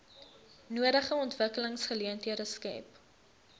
nodige ontwikkelingsgeleenthede skep